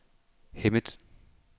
Hemmet